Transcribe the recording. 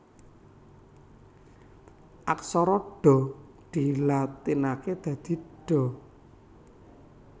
Aksara Dha dilatinaké dadi Dha